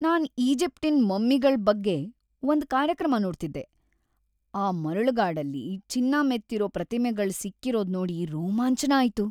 ನಾನ್ ಈಜಿಪ್ಟಿನ್ ಮಮ್ಮಿಗಳ್‌ ಬಗ್ಗೆ ಒಂದ್ ಕಾರ್ಯಕ್ರಮ ನೋಡ್ತಿದ್ದೆ, ಆ ಮರಳುಗಾಡಲ್ಲಿ ಚಿನ್ನ ಮೆತ್ತಿರೋ ಪ್ರತಿಮೆಗಳ್‌ ಸಿಕ್ಕಿರೋದ್‌ ನೋಡಿ ರೋಮಾಂಚ್ನ ಆಯ್ತು.